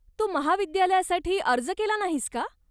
तू महाविद्यालयासाठी अर्ज केला नाहीस का?